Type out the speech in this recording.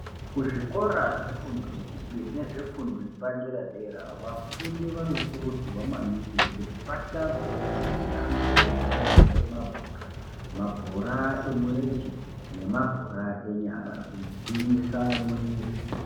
Kuzvikora kwezvefundo yechipiri nezvefundo yepadera dera vafundi vanokurudzirwa maningi kuti vatambeo mitambo yakaita semabhora mabhora emurenje nemabhora enyara kugwinyise mwiri.